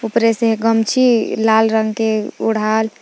ऊपरे से है गमछी लाल रंग के ओढ़ाल--